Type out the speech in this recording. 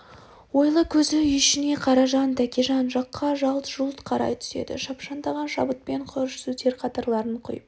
ойлы көзі үй ішіне қаражан тәкежан жаққа жалт-жұлт қарай түседі шапшандаған шабытпен құрыш сөздер қатарларын құйып